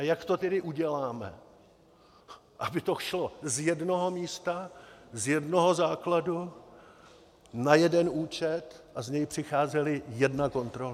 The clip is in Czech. A jak to tedy uděláme, aby to šlo z jednoho místa, z jednoho základu, na jeden účet a z něj přicházela jedna kontrola.